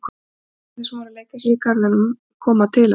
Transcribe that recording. Krakkarnir sem voru að leika sér í garðinum koma til hans.